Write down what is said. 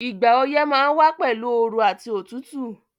Ìgbà oyẹ́ ma n wa pẹ̀lu ooru àti otútù